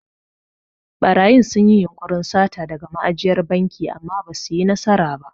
Ɓarayin sun yi yunƙurin sata daga ma'ajiyar banki amma basu yi nasara ba.